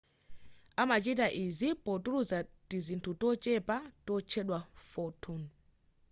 amachita izi potulutsa tizinthu tochepa totchedwa photon